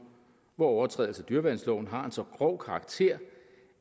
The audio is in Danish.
hvor en overtrædelse af dyreværnsloven har så grov en karakter